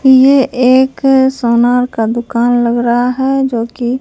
ये एक सोनार का दुकान लग रहा है जो की--